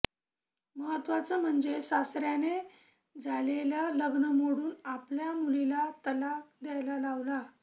महत्त्वाचं म्हणजे सासऱ्याने झालेलं लग्न मोडून आपल्या मुलीला तलाक घ्यायला लावला